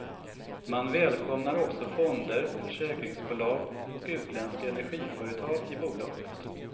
Man välkomnar också fonder, försäkringsbolag och utländska energiföretag i bolaget.